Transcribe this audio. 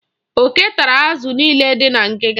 Oke tara azụ niile dị na ngịga.